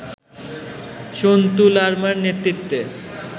সন্তু লারমার নেতৃত্বে